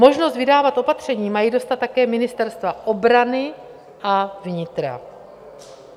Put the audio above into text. Možnost vydávat opatření mají dostat také ministerstva obrany a vnitra.